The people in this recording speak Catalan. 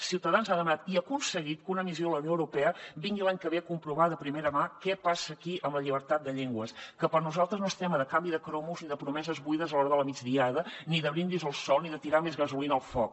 ciutadans ha demanat i aconseguit que una missió de la unió europea vingui l’any que ve a comprovar de primera mà què passa aquí amb la llibertat de llengües que per nosaltres no és tema de canvi de cromos ni de promeses buides a l’hora de la migdiada ni de brindis al sol ni de tirar més gasolina al foc